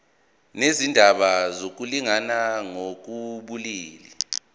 nezindaba zokulingana ngokobulili